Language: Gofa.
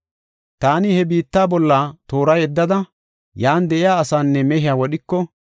“Taani he biitta bolla toora yeddada, yan de7iya asaanne mehiya wodhiko,